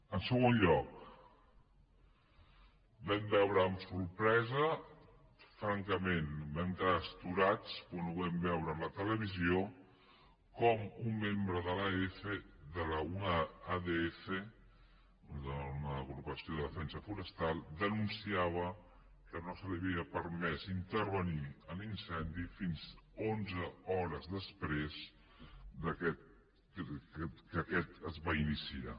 en segon lloc vam veure amb sorpresa francament vam quedar astorats quan ho vam veure a la televisió com un membre d’una adf una agrupació de defensa forestal denunciava que no se li havia permès intervenir a l’incendi fins a onze hores després que aquest es va iniciar